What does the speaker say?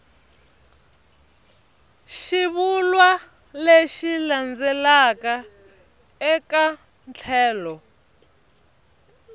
xivulwa lexi landzelaka eka tlhelo